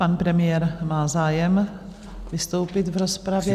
Pan premiér má zájem vystoupit v rozpravě.